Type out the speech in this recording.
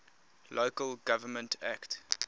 local government act